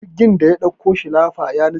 jirgin da ya ɗauko shilafa ya nutse